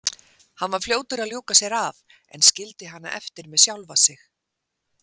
Hann var fljótur að ljúka sér af en skildi hana eftir með sjálfa sig.